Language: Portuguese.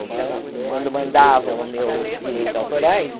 Então, quando mandavam os meus direitos autorais,